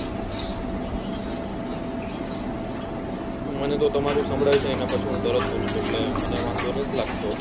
મને તો તમારું સંભળાય છે એના પછી હું તરત બોલું છું એટલે મને વાંધો નાથ લાગતો